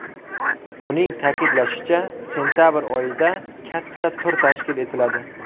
Uning ta’kidlashicha, sentabr oyida katta tur tashkil etiladi.